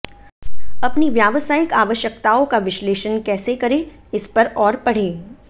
अपनी व्यावसायिक आवश्यकताओं का विश्लेषण कैसे करें इस पर और पढ़ें